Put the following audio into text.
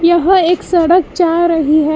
यहां एक सड़क जा रही है।